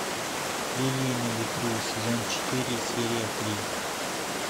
лилии на ветру сезон четыре серия три